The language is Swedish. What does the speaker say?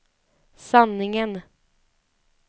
sanningen